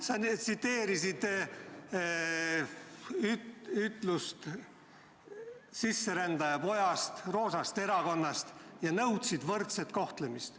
Sa tsiteerisid ütlust sisserändaja poja kohta roosast erakonnast ja nõudsid võrdset kohtlemist.